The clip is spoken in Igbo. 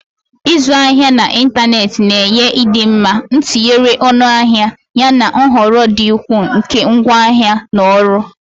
Ịzụ ahịa n'ịntanetị na-enye ịdị mma, ntụnyere ọnụahịa, yana nhọrọ dị ukwuu nke ngwaahịa na ọrụ.